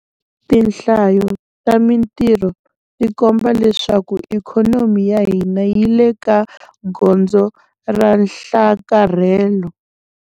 Tinhlayo ta mitirho ti komba leswaku ikhonomi ya hina yi le ka gondzo ra nhlakarhelo.